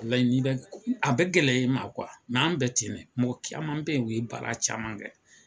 a bɛ gɛlɛya ye ma kuwa mɛ an bɛ ten mɔgɔ caman bɛ yen u ye baara caman kɛ